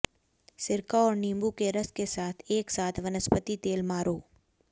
सिरका और नींबू के रस के साथ एक साथ वनस्पति तेल मारो